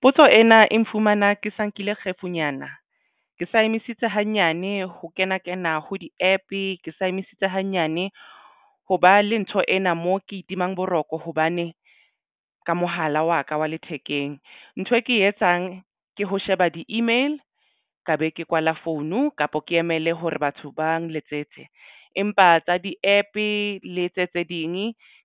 Potso ena e nfumana ke sa nkile kgefunyana ke sa emisitse hanyane ho kena kena ho di-APP ke sa emisitse hanyane ho ba le ntho ena mo ke itimang boroko hobane ka mohala wa ka wa lethekeng. Ntho e ke e etsang ke ho sheba di-email ka be ke kwala phone kapo ke emele hore batho ba nletsetse empa tsa di-APP le tse tse ding